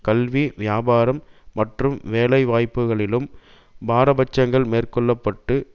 கல்வி வியாபாரம் மற்றும் வேலைவாய்ப்புகளிலும் பாரபட்சங்கள் மேற்கொள்ள பட்டு